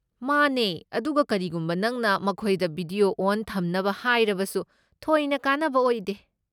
ꯃꯥꯅꯦ, ꯑꯗꯨꯒ ꯀꯔꯤꯒꯨꯝꯕ ꯅꯪꯅ ꯃꯈꯣꯏꯗ ꯚꯤꯗꯤꯑꯣ ꯑꯣꯟ ꯊꯝꯅꯕ ꯍꯥꯏꯔꯕꯁꯨ, ꯊꯣꯏꯅ ꯀꯥꯟꯅꯕ ꯑꯣꯏꯗꯦ꯫